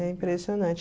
É impressionante.